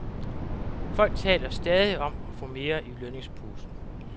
Folk taler stadig om at få mere i lønningsposen.